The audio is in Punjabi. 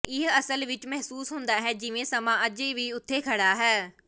ਇਹ ਅਸਲ ਵਿੱਚ ਮਹਿਸੂਸ ਹੁੰਦਾ ਹੈ ਜਿਵੇਂ ਸਮਾਂ ਅਜੇ ਵੀ ਉੱਥੇ ਖੜਾ ਹੈ